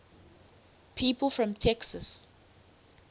people from texas